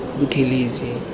buthelezi